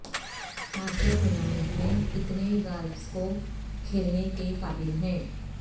master tournament میں کتنے golfers کو کھیلنے کے قابل ہیں